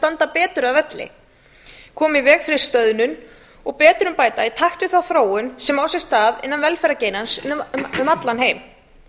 standa betur að vígi koma í veg fyrir stöðnun og betrumbæta í takt við þá þróun sem á sér stað innan velferðargeirans um allan heim